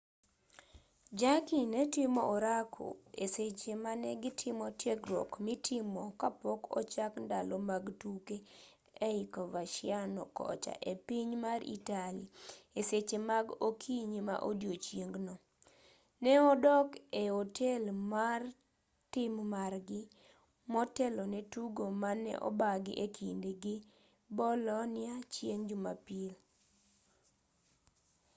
jarque ne timo orako e seche mane gitimo tiegruok mitimo ka pok ochak ndalo mag tuke ei coverciano kocha e piny mar italy e seche mag okinyi ma odiechieng'no ne odak e otel mar tim margi motelo ne tugo mane obagi e kindgi gi bolonia chieng' jumapil